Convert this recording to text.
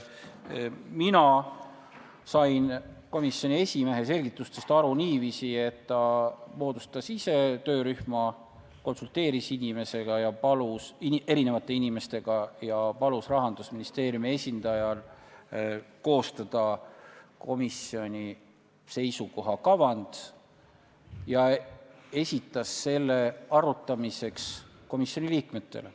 Mina sain komisjoni esimehe selgitustest aru niiviisi, et ta moodustas selle töörühma ise, konsulteeris inimesega – erinevate inimestega –, palus Rahandusministeeriumi esindajal koostada komisjoni seisukoha kavand ja esitas selle arutamiseks komisjoni liikmetele.